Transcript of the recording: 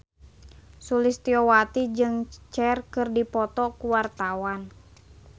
Sulistyowati jeung Cher keur dipoto ku wartawan